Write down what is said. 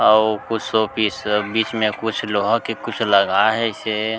अऊ कुछ शो-पीस बीच मे कुछ लोहा के कुछ लगाए हाइसे ।